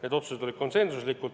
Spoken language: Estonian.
Need otsused olid konsensuslikud.